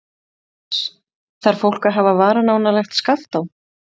Jóhannes: Þarf fólk að hafa varan á nálægt Skaftá?